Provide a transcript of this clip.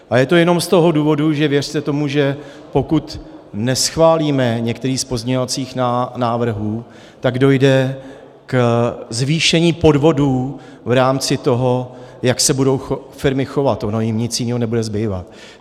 A je to jenom z toho důvodu, že věřte tomu, že pokud neschválíme některý z pozměňovacích návrhů, tak dojde ke zvýšení podvodů v rámci toho, jak se budou firmy chovat, ono jim nic jiného nebude zbývat.